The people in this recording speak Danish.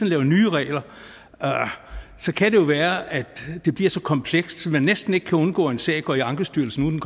laver nye regler kan det jo være at det bliver så komplekst at man næsten ikke kan undgå at en sag går i ankestyrelsen